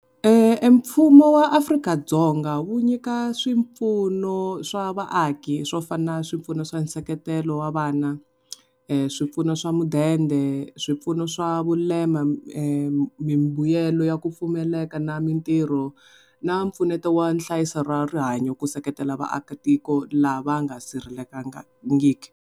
Mfumo wa Afrika-Dzonga wu nyika swipfuno swa vaaki swo fana na swipfuno swa nseketelo wa vana, swipfuno swa mudende swipfuno swa vulema mimbuyelo yo yaku pfumaleka na mintirho na mpfuneto wa nhlayiso ra rihanyo ku seketela vaakatiko lava nga sirhelelangiki.